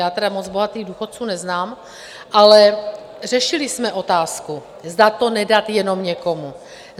Já tedy moc bohatých důchodců neznám, ale řešili jsme otázku, zda to nedat jenom někomu.